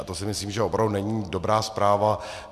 A to si myslím, že opravdu není dobrá zpráva.